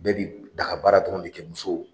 Bɛɛ bi daga baara dɔrɔn de kɛ muso